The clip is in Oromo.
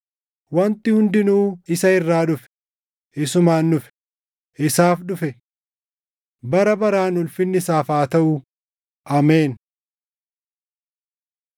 Wanti hundinuu isa irraa dhufe; isumaan dhufe; isaaf dhufe. Bara baraan ulfinni isaaf haa taʼu! Ameen.